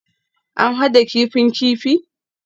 An hada kifin kifi?